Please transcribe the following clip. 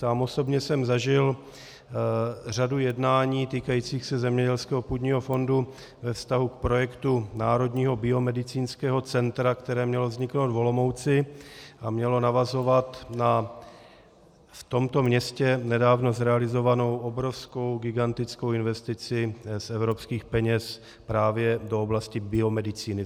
Sám osobně jsem zažil řadu jednání týkajících se zemědělského půdního fondu ve vztahu k projektu Národního biomedicínského centra, které mělo vzniknout v Olomouci a mělo navazovat na v tomto městě nedávno zrealizovanou obrovskou, gigantickou investici z evropských peněz právě do oblasti biomedicíny.